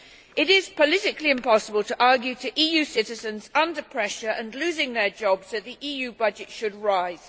It is politically impossible to argue to EU citizens under pressure and losing their jobs that the EU budget should rise.